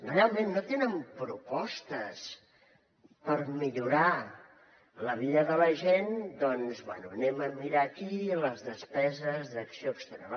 realment no tenen propostes per millorar la vida de la gent doncs bé anem a mirar aquí les despeses d’acció exterior